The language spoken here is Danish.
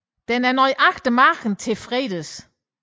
Den er nøjagtig mage til Fredes